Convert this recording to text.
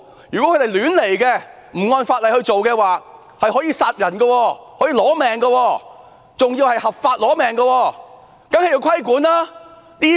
如果他們亂來，不按法例行事，可以殺人取命，還是合法殺人，因此當然要規管。